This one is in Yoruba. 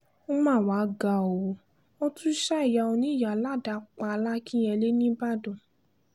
ó mà wàá ga ọ́ wọ́n tún ṣa ìyá oníyàá ládàá pa làkínyẹlé nìbàdàn